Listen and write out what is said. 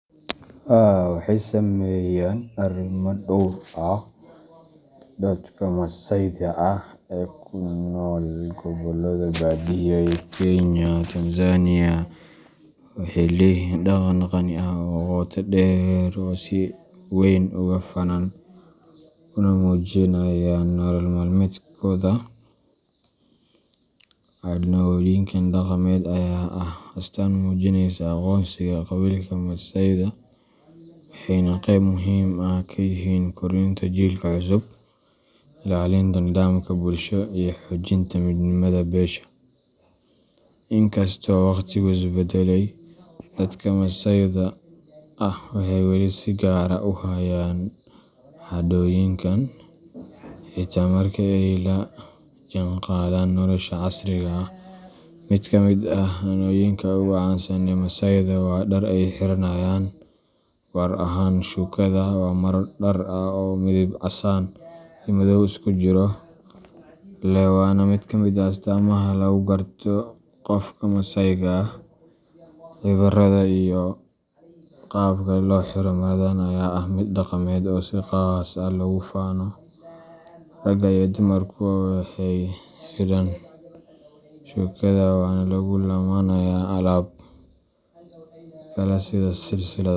Haa waxey sameyan arima dhor ah. Dadka Masaayda ah ee ku nool gobollada baadiyaha ee Kenya iyo Tanzania, waxay leeyihiin dhaqan qani ah oo qotodheer oo ay si wayn uga faanaan, una muujiyaan nolol maalmeedkooda. Caadooyinkan dhaqameed ayaa ah astaan muujinaysa aqoonsiga qabiilka Masaayda, waxayna qeyb muhiim ah ka yihiin korinta jiilka cusub, ilaalinta nidaamka bulsho iyo xoojinta midnimada beesha. Inkastoo waqtigu isbedelay, dadka Masaayda ah waxay weli si gaar ah u hayaan caadooyinkan, xitaa marka ay la jaanqaadaan nolosha casriga ah. Mid ka mid ah caadooyinka ugu caansan ee Masaayda waa dharka ay xiranayaan, gaar ahaan shukada, waa maro dhar ah oo midab casaan iyo madow isku jira leh, waana mid ka mid ah astaamaha lagu garto qofka Masaayga ah. Cabbiraadda iyo qaabka loo xiro maradan ayaa ah mid dhaqameed oo si qaas ah loogu faano. Ragga iyo dumarkuba waxay xidhaan shukada, waxaana lagu lammaaniyaa alaab kale sida silsilado.